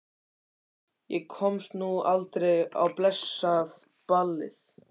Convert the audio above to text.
Ég komst nú aldrei á blessað ballið.